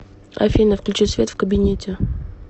афина включи свет в кабинете